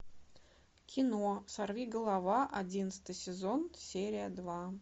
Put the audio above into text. кино сорви голова одиннадцатый сезон серия два